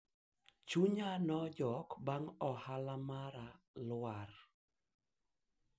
nilikata tamaa baada ya biashara yangu kuanguka